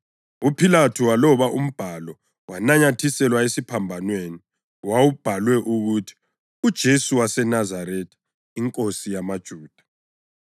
UPhilathu waloba umbhalo wananyathiselwa esiphambanweni. Wawubhalwe ukuthi: UJesu waseNazaretha, iNkosi yamaJuda.